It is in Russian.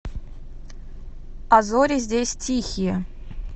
а зори здесь тихие